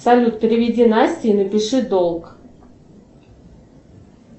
салют переведи насте и напиши долг